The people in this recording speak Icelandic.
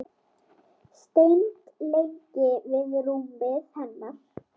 Stend lengi við rúmið hennar.